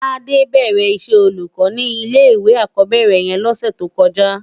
Tade bèrè iṣè ólúkò ni ilé iwé ákòbèrè yèn lòsè tókòjá